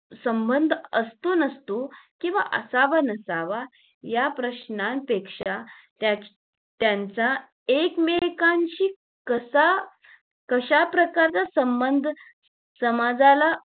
संबंध असतो नसतो किंवा असावा नसावा या प्रश्नापेक्षा त्याचा त्यांचा एकमेकांशी कसा कश्या प्रकारचा संबंध समाजाला